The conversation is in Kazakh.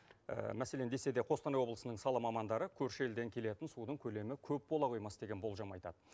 мәселен десе де қостанай облысының сала мамандары көрші елден келетін судың көлемі көп бола қоймас деген болжам айтад